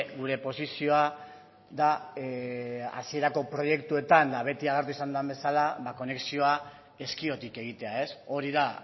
gure posizioa da hasierako proiektuetan eta beti agertu izan den bezala ba konexioa ezkiotik egitea ez hori da